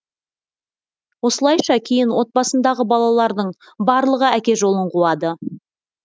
осылайша кейін отбасындағы балалардың барлығы әке жолын қуады